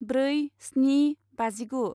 ब्रै स्नि बाजिगु